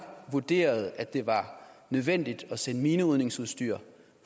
vurderede at det var nødvendigt at sende minerydningsudstyr